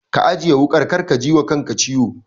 Ka ajiye wuƙar kar ka jiwa kanka ciwo.